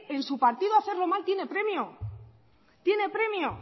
en su partido hacerlo mal tiene premio